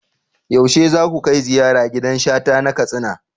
Yaushe za ku kai ziyara gidan Shata na Katsina?